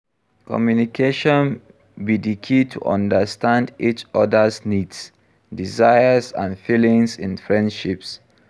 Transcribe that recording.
Communication be di key to understand each oda's needs, desires and feelings in friendships.